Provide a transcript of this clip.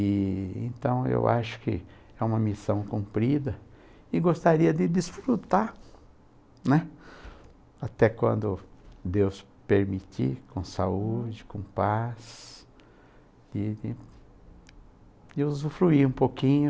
E então eu acho que é uma missão cumprida e gostaria de desfrutar, né, até quando Deus permitir, com saúde, com paz, de de de usufruir um pouquinho.